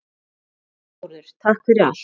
Kæri Þórður, takk fyrir allt.